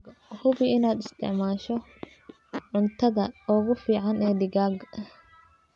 Hubi inaad isticmaasho cuntada ugu fiican ee digaagga.